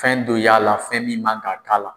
Fɛn dɔ y'a la fɛn min man ka k'a la.